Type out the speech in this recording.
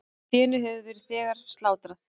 Fénu hefur þegar verið slátrað.